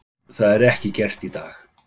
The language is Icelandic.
Það er ekki gert í dag.